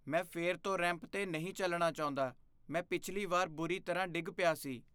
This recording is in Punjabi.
ਮੈਂ ਫਿਰ ਤੋਂ ਰੈਂਪ 'ਤੇ ਨਹੀਂ ਚੱਲਣਾ ਚਾਹੁੰਦਾ। ਮੈਂ ਪਿਛਲੀ ਵਾਰ ਬੁਰੀ ਤਰ੍ਹਾਂ ਡਿੱਗ ਪਿਆ ਸੀ।